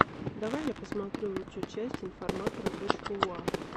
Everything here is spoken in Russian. давай я посмотрю лучшую часть информатора точка уа